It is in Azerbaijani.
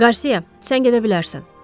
Qarsiya, sən gedə bilərsən.